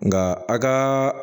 Nka a ka